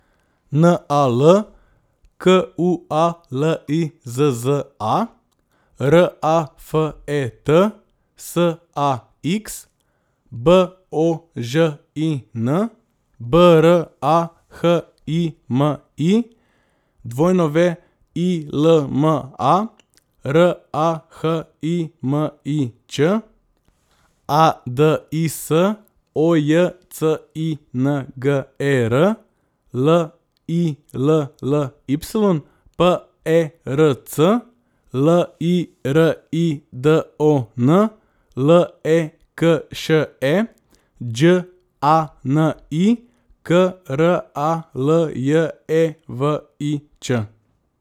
N A L, Q U A L I Z Z A; R A F E T, S A X; B O Ž I N, B R A H I M I; W I L M A, R A H I M I Ć; A D I S, O J C I N G E R; L I L L Y, P E R C; L I R I D O N, L E K Š E; Đ A N I, K R A L J E V I Č.